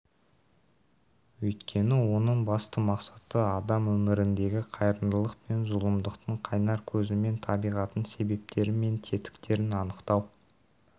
өйткені оның басты мақсаты адам өміріндегі қайырымдылық пен зұлымдықтың қайнар көзі мен табиғатын себептері мен тетіктерін анықтау